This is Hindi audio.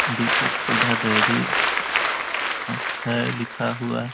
दीपक सुधा डेरी अ है लिखा हुआ --